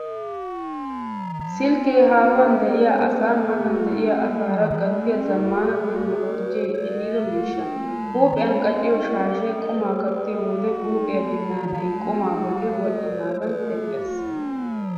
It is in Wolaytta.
Silkkee haahuwan de'iya asaa matan de'iya asaara gattiya zammaana 'tekinoloojee' ehiido miishsha. Huuphiyan qaciyo shaashee qumaa kaattiyo wode huuphiya binnaanay qumaa bolli wodhdhinaadan teqqees.